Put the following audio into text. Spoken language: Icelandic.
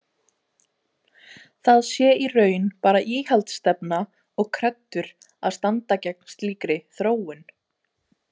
Það sé í raun bara íhaldsstefna og kreddur að standa gegn slíkri „þróun“.